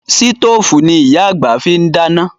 Sítòfù ni Ìyá àgbà fi ń dáná